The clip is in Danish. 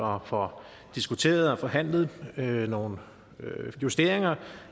og får diskuteret og forhandlet nogle nogle justeringer